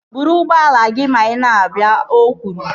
Buru ụgbọala gị ma ị na-abịa! O kwuru